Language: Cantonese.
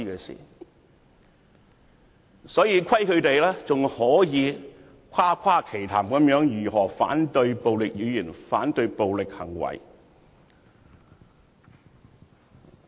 所以，虧他們還可以誇誇其談，反對暴力語言和行為。